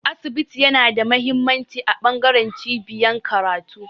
Asibiti yana da mahimmanci a bangaren cibiyar karatu